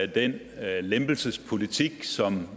den lempelsespolitik som